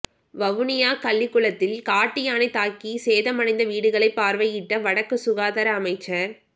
வவுனியா கள்ளிக்குளத்தில் காட்டுயானை தாக்கிசேதமடைந்த வீடுகளை பார்வையிட்ட வடக்கு சுகாதார அமைச்சர்